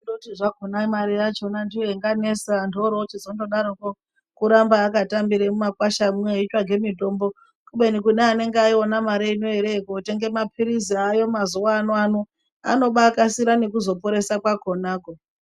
Kotizve mare yakona ndiyo yakanesa antu orochizondodaroko kuramba akatambire mumakwashamwo aitsvake mutombo kubeni kune anenge aiona mare ineyi ere kotenge mapirisi aayo mazuva ano anokasira nekuzoporesa kwakonako .